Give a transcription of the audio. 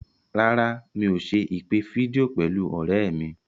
Rárá, mi ò ṣe ìpè fídíò pẹ̀lú ọ̀rẹ́ mi.